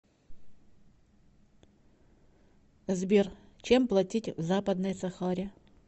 сбер чем платить в западной сахаре